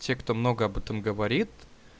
те кто много об этом говорит